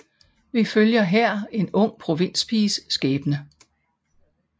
Vi følger her en ung provinspiges skæbne